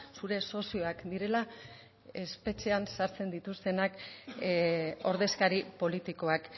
zure sozioak direla espetxean sartzen dituztenak ordezkari politikoak